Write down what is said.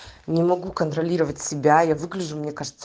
не могу контролировать себя я выгляжу мне кажется